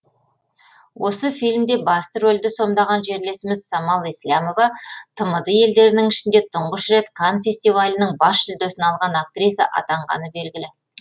осы фильмде басты рөлді сомдаған жерлесіміз самал еслямова тмд елдерінің ішінде тұңғыш рет канн фестивалінің бас жүлдесін алған актриса атанғаны белгілі